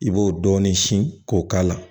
I b'o dɔɔnin sin k'o k'a la